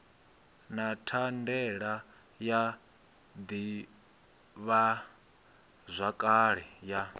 na thandela ya ḓivhazwakale ya